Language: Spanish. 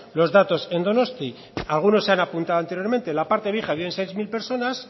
los datos en donosti algunos han apuntado anteriormente en la parte vieja viven seis mil personas